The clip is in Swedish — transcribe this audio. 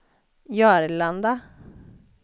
Jörlanda